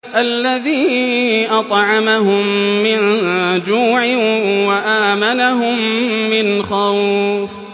الَّذِي أَطْعَمَهُم مِّن جُوعٍ وَآمَنَهُم مِّنْ خَوْفٍ